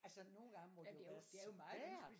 Altså nogle gange må det jo være svært!